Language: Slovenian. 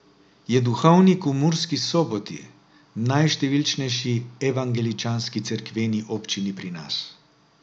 Je duhovnik v Murski Soboti, najštevilčnejši evangeličanski cerkveni občini pri nas.